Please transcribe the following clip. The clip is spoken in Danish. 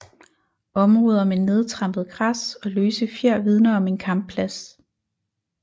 Områder med nedtrampet græs og løse fjer vidner om en kampplads